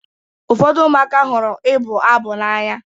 Ụfọdụ ụmụaka hụrụ ịbụ abụ n'anya.